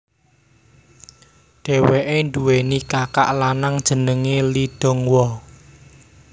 Dhèwèké nduweni kakak lanang jenengé Lee Donghwa